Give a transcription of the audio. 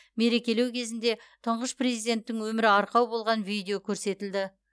мерекелеу кезінде тұңғыш президенттің өмірі арқау болған видео көрсетілді